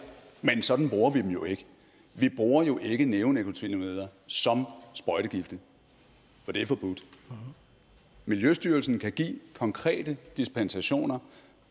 men sådan bruger vi dem jo ikke vi bruger jo ikke neonikotinoider som sprøjtegifte for det er forbudt miljøstyrelsen kan give konkrete dispensationer